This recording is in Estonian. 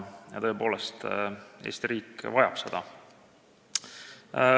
Tõepoolest, Eesti riik vajab seda.